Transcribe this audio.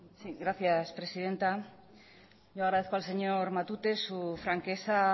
sí gracias presidenta yo agradezco al señor matute su franqueza